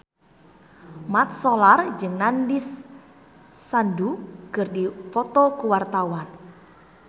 Mat Solar jeung Nandish Sandhu keur dipoto ku wartawan